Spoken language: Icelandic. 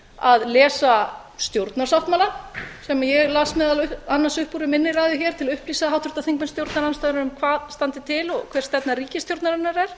að lesa stjórnarsáttmálann sem ég las meðal annars upp úr í minni ræðu til að upplýsa háttvirta þingmenn stjórnarandstöðunnar um hvað standi til og hver stefna ríkisstjórnarinnar er